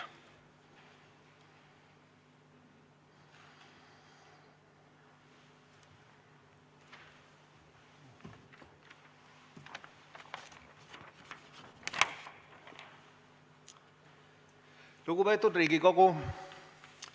Lugupeetud Riigikogu!